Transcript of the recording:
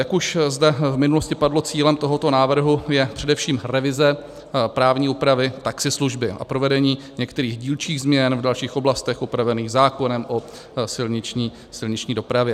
Jak už zde v minulosti padlo, cílem tohoto návrhu je především revize právní úpravy taxislužby a provedení některých dílčích změn v dalších oblastech upravených zákonem o silniční dopravě.